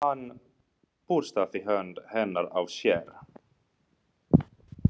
Hann burstaði hönd hennar af sér.